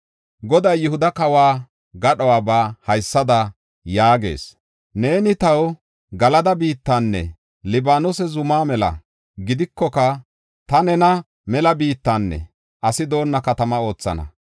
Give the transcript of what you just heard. Goday Yihuda kawo gadhuwaba haysada yaagees: “Neeni taw Galada biittanne Libaanose zuma mela gidikoka, ta nena mela biittanne asi doonna katama oothana.